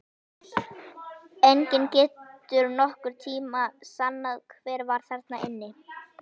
Enginn getur nokkurn tíma sannað hver var þarna inni!